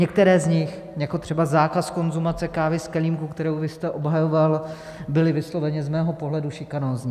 Některé z nich, jako třeba zákaz konzumace kávy z kelímku, který vy jste obhajoval, byly vysloveně z mého pohledu šikanózní.